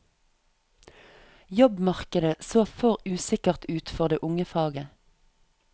Jobbmarkedet så for usikkert ut for det unge faget.